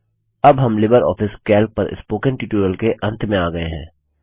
अब हम Libre Office Calc पर स्पोकन ट्यूटोरियल के अंत में आ गये हैं